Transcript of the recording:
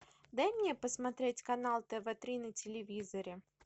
дай мне посмотреть канал тв три на телевизоре